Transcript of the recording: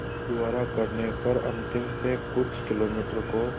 बस द्वारा करने पर अंतिम से कुछ किलोमीटर को